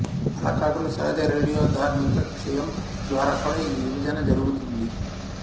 అలా కాకుండా సహజ రేడియోధార్మిక క్షయం ద్వారా కూడా ఈ విభజన జరుగుతుంది